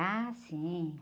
Ah, sim.